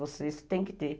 Você tem que ter.